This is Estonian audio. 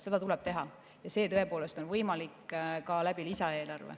Seda tuleb teha ja see tõepoolest on lisaeelarve kaudu ka võimalik.